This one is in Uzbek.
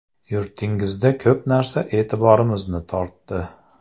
Yurtingizda ko‘p narsa e’tiborimizni tortdi.